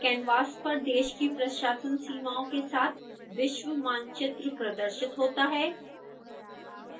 canvas पर देश की प्रशासन सीमाओं के साथ विश्व मानचित्र प्रदर्शित होता है